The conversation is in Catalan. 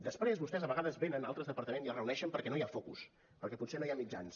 després vostès a vegades venen a altres departaments i es reuneixen perquè no hi ha focus perquè potser no hi ha mitjans